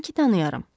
Yəqin ki, tanıyaram.